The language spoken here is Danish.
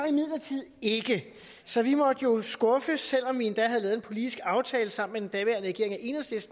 imidlertid ikke så vi måtte jo skuffes selv om vi endda havde lavet en politisk aftale sammen